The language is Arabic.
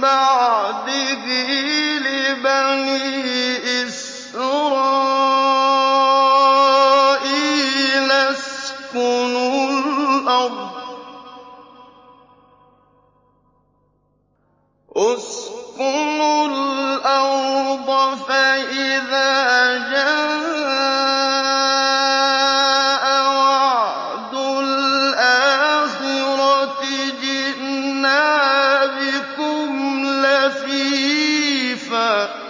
بَعْدِهِ لِبَنِي إِسْرَائِيلَ اسْكُنُوا الْأَرْضَ فَإِذَا جَاءَ وَعْدُ الْآخِرَةِ جِئْنَا بِكُمْ لَفِيفًا